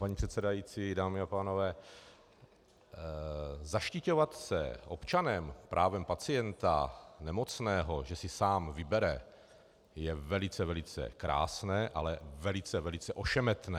Paní předsedající, dámy a pánové, zaštiťovat se občanem, právem pacienta, nemocného, že si sám vybere, je velice, velice krásné, ale velice, velice ošemetné.